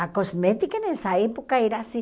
A cosmética nessa época era assim.